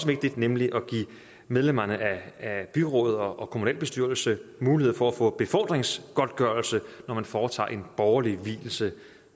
vigtig nemlig at give medlemmerne af byråd og kommunualbestyrelse mulighed for at få befordringsgodtgørelse når man foretager en borgerlig vielse